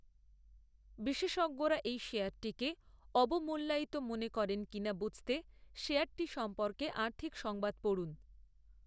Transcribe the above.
বিশেষজ্ঞরা এই শেয়ারটিকে অবমূল্যায়িত মনে করেন কিনা বুঝতে শেয়ারটি সম্পর্কে আর্থিক সংবাদ পড়ুন।